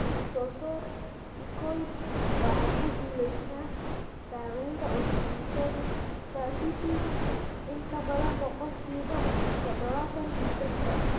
Glucocorticoids waxay ku guulaystaan ​​daawaynta eosinophilic fasciitis in ka badan boqolkibo todobatan kiisaska.